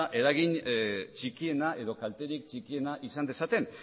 eragin txikiena edo kalterik txikiena izan dezaten